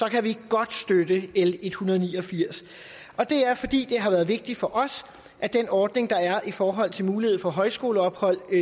kan vi godt støtte l en hundrede og ni og firs og det er fordi det har været vigtigt for os at den ordning der er i forhold til muligheden for højskoleophold